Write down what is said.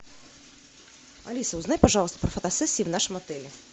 алиса узнай пожалуйста про фотосессии в нашем отеле